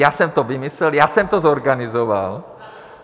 Já jsem to vymyslel, já jsem to zorganizoval.